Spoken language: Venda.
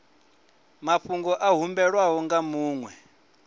mafhungo a humbelwaho nga muṅwe